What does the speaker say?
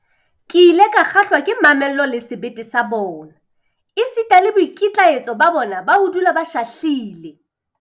Ke ile ka kgahlwa ke mamello le sebete sa bona, esita le boikitlaetso ba bona ba ho dula ba shahlile.